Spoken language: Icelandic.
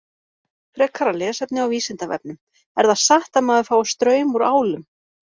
Frekara lesefni á Vísindavefnum: Er það satt að maður fái straum úr álum?